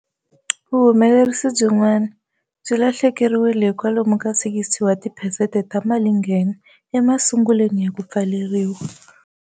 Vuhumelerisi byin'wana swi lahlekeriwile hi kwalomu ka 60 wa tiphesente ta malinghena emasungulweni ya ku pfaleriwa.